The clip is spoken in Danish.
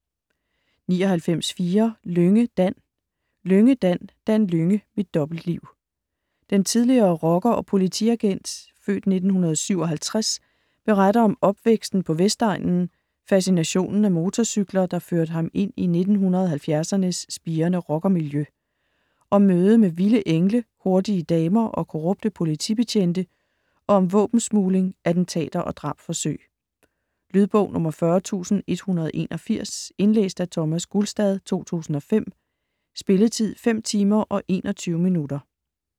99.4 Lynge, Dan Lynge, Dan: Dan Lynge - mit dobbeltliv Den tidligere rocker og politiagent (f. 1957) beretter om opvæksten på Vestegnen, facinationen af motorcykler, der førte ham ind i 1970'ernes spirende rockermiljø. Om mødet med vilde engle, hurtige damer og korrupte politibetjente og om våbensmugling, attentater og drabsforsøg. Lydbog 40181 Indlæst af Thomas Gulstad, 2005. Spilletid: 5 timer, 21 minutter.